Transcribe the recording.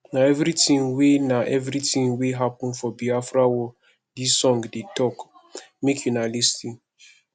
na everytin wey na everytin wey happen for biafra war dis song dey tok make una lis ten